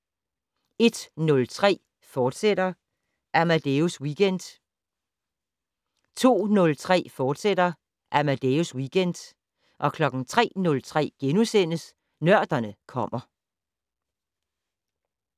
01:03: Amadeus Weekend, fortsat 02:03: Amadeus Weekend, fortsat 03:03: Nørderne kommer *